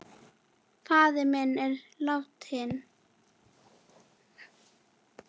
Faðir minn er látinn.